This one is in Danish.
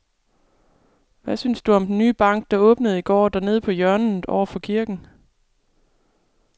Hvad synes du om den nye bank, der åbnede i går dernede på hjørnet over for kirken?